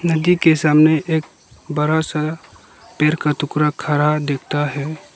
नदी के सामने एक बड़ा सा पेड़ का टुकड़ा खड़ा दिखता है।